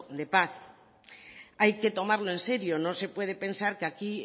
de paz hay que tomarlos en serio no se puede pensar que aquí